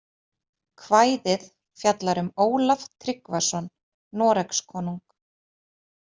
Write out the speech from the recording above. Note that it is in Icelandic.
Kvæðið fjallar um Ólaf Tryggvason Noregskonung.